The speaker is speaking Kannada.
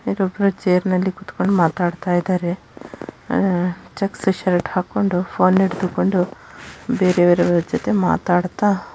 ಇಲ್ಲಿ ಒಬ್ಬರು ಚೇರ್‌ ಮೇಲೆ ಕೂತುಕೊಂಡು ಮಾತನಾಡುತ್ತಿದ್ದಾರೆ ಚೆಕ್ಸ್ ಶರ್ಟ್‌ ಹಾಕಿಕೊಂಡು ಪೋನ್‌ ಹಿಡಿದುಕೊಂಡು ಬೇರೆಯವರ ಜೊತೆ ಮಾತಾಡುತ್ತ --